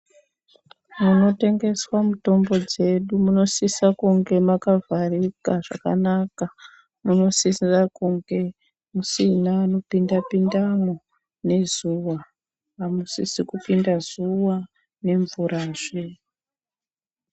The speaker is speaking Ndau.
Munotengeswa mutombo dzedu munosisa kunge mwakavharika zvakanaka minosisira kunge musina anopinda pindamwo nezuwa amusisi kupinda zuwa nemvura zve.